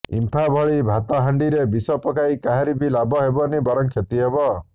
ଇମ୍ଫା ଭଳି ଭାତହାଣ୍ଡିରେ ବିଷ ପକାଇ କାହାରି ବି ଲାଭ ହେବନି ବରଂ କ୍ଷତି ହେବ